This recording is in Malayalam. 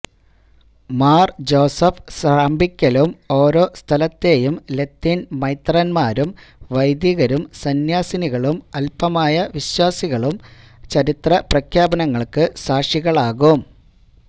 മാര് ജോസഫ് സ്രാമ്പിക്കലും ഓരോ സ്ഥലത്തെയും ലത്തീന് മെത്രാന്മാരും വൈദികരും സന്യാസിനികളും അല്മായ വിശ്വാസികളും ചരിത്ര പ്രഖ്യാപനങ്ങള്ക്കു സാക്ഷികളാകും